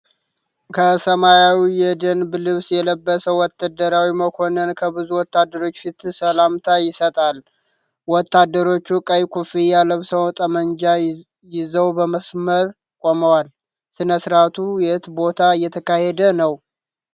ከሰማያዊ የደንብ ልብስ የለበሰ ወታደራዊ መኮንን ከብዙ ወታደሮች ፊት ሰላምታ ይሰጣል። ወታደሮቹ ቀይ ኮፍያ ለብሰው ጠመንጃ ይዘው በመስመር ቆመዋል። ሥነ ሥርዓቱ የት ቦታ እየተካሄደ ነው?